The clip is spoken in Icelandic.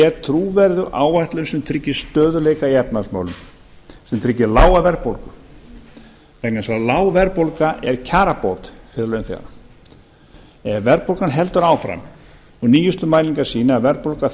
er trúverðug áætlun sem tryggir stöðugleika í efnahagsmálum sem tryggir lága verðbólgu vegna þess að lág verðbólga er kjarabót fyrir launþega ef verðbólgan heldur áfram og nýjustu mælingar sýna að verðbólga